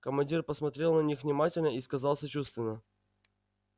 командир посмотрел на них внимательно и сказал сочувственно